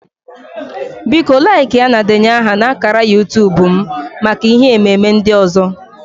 Biko laịkịa na denye aha na ákàrà YuuTub m maka ihe ememe ndị ọzọ